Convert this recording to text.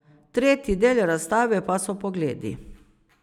Tretji del razstave pa so Pogledi.